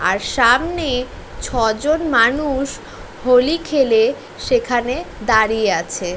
আর সামনে ছয় জন মানুষ হোলি খেলে সেখানে দাঁড়িয়ে আছে।